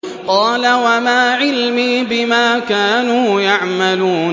قَالَ وَمَا عِلْمِي بِمَا كَانُوا يَعْمَلُونَ